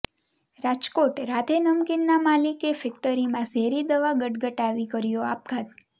રાજકોટઃ રાધે નમકીનના માલિકે ફેક્ટરીમાં ઝેરી દવા ગટગટાવી કર્યો આપઘાત